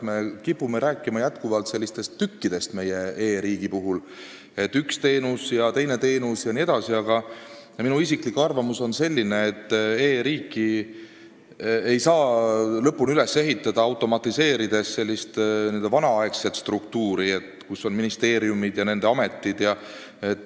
Me kipume e-riigist rääkides jätkuvalt rääkima sellistest tükkidest, et üks teenus ja teine teenus jne, aga minu isiklik arvamus on selline, et e-riiki ei saa lõpuni üles ehitada, automatiseerides vanaaegset struktuuri, kus on ministeeriumid ja nende ametid.